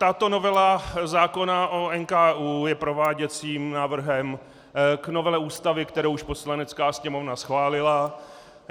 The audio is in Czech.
Tato novela zákona o NKÚ je prováděcím návrhem k novele Ústavy, kterou už Poslanecká sněmovna schválila.